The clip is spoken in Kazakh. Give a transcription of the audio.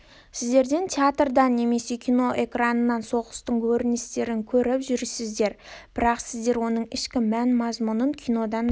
сіздер театрдан немесе кино экранынан соғыстың көріністерін көріп жүрсіздер бірақ сіздер оның ішкі мән-мазмұнын кинодан да